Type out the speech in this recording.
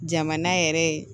Jamana yɛrɛ ye